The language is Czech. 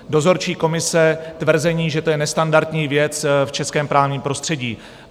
Dozorčí komise - tvrzení, že to je nestandardní věc v českém právním prostředí.